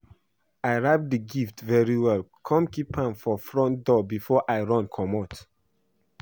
I wrap the gift very well come keep am for front door before I run comot